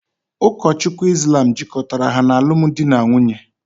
Ụkọchukwu Islam jikọtara ha n’alụmdi na nwunye